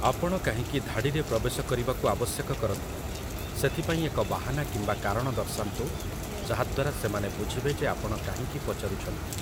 ଆପଣ କାହିଁକି ଧାଡ଼ିରେ ପ୍ରବେଶ କରିବାକୁ ଆବଶ୍ୟକ କରନ୍ତି, ସେଥିପାଇଁ ଏକ ବାହାନା କିମ୍ବା କାରଣ ଦର୍ଶାନ୍ତୁ, ଯାହାଦ୍ଵାରା ସେମାନେ ବୁଝିବେ ଯେ ଆପଣ କାହିଁକି ପଚାରୁଛନ୍ତି ।